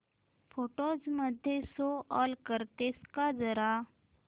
photos मध्ये show all करतेस का जरा